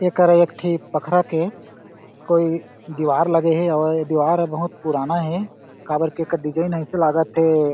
एकरा एक ठी पखरा के कोई दिवार लगे हे अउ ए दीवार ह बहुत पुराना हे काबर की एकर डिज़ाइन ऐसे लागत हे।